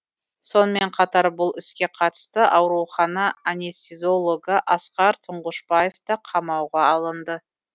сонымен қатар бұл іске қатысты аурухана анестезиологы асқар тұңғышбаев та қамауға алынды